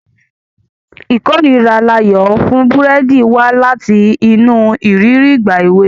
Ìkórìíra Layo fún búrẹ́dì wá láti inú ìrírí ìgbà èwe.